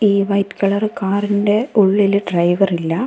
ഈ white colour കാറിൻ്റെ ഉള്ളിൽ ഡ്രൈവർ ഇല്ല.